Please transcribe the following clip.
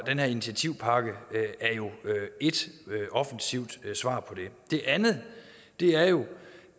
her initiativpakke er jo ét offensivt svar på det det andet er jo